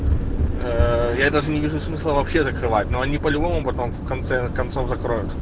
я даже не вижу смысла вообще закрывать но они по-любому потом в конце концов закроют